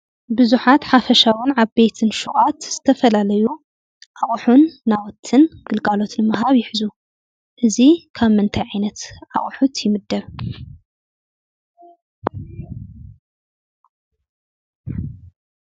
ብዙሓት ሓፈሻውን ዓበይቲ ሹቃት ዝተፈላለዩ ኣቑሕን ናውትን ግልጋሎትን ምሃብ ይሕዙ:: እዚ ካብ ምንታይ ዓይነት ኣቑሑ ይምደብ?